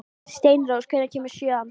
Steinrós, hvenær kemur sjöan?